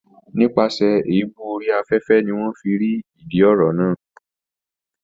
Nípasẹ̀ Èébú orí afẹ́fẹ́ ni wọ́n fi rí ìdí ọ̀rọ̀ náà